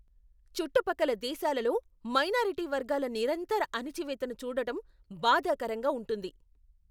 చుట్టుపక్కల దేశాలలో మైనారిటీ వర్గాల నిరంతర అణచివేతను చూడటం బాధాకరంగా ఉంటుంది.